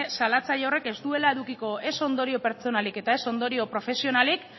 salatzaile horrek ez duela edukiko ez ondorio pertsonalik eta ez ondorio profesionalik